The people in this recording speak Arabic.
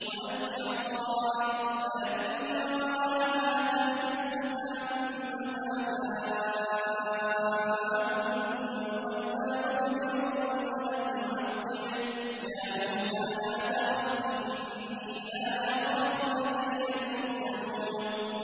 وَأَلْقِ عَصَاكَ ۚ فَلَمَّا رَآهَا تَهْتَزُّ كَأَنَّهَا جَانٌّ وَلَّىٰ مُدْبِرًا وَلَمْ يُعَقِّبْ ۚ يَا مُوسَىٰ لَا تَخَفْ إِنِّي لَا يَخَافُ لَدَيَّ الْمُرْسَلُونَ